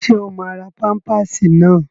Ṣé o máa ra pámpásì náà?